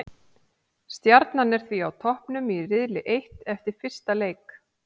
Stjarnan er því á toppnum í riðli eitt eftir fyrsta leik.